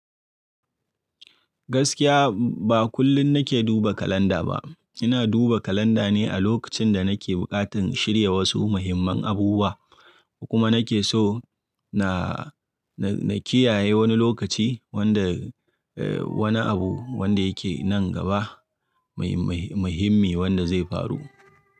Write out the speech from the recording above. Gaskiya ba kullum nake duba kalanda ba. Ina duba kalanda ne a lokacin da nake buƙatar shirya wasu muhimman abubuwa kuma nake so na, na, na kiyaye wani lokaci wanda, eh wani abu wanda yake nan gaba muhi-muhi-muhimmi wanda zai faru.